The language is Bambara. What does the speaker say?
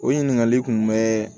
O ɲininkali kun bɛɛ